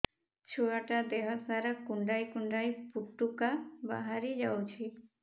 ଛୁଆ ଟା ଦେହ ସାରା କୁଣ୍ଡାଇ କୁଣ୍ଡାଇ ପୁଟୁକା ବାହାରି ଯାଉଛି